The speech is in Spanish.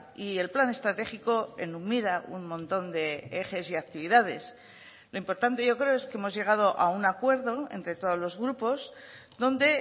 y el plan estratégico enumera un montón de ejes y actividades lo importante yo creo es que hemos llegado a un acuerdo entre todos los grupos donde